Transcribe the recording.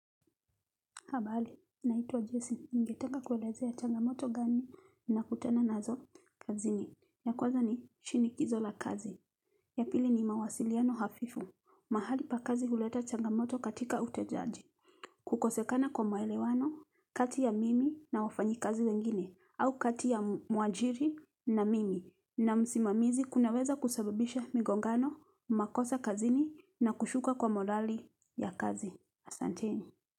Habali, naitwa Jason. Ningetanga kuelezea Changamoto gani ninakutana nazo kazini. Ya kwanza ni, shinikizo la kazi. Ya pili ni mawasiliano hafifu. Mahali pa kazi huleta Changamoto katika utejaji. Kukosekana kwa maelewano, kati ya mimi na wafanyikazi wengine. Au kati ya mwajiri na mimi na msimamizi kunaweza kusababisha migongano, makosa kazini na kushuka kwa morali ya kazi. Asante.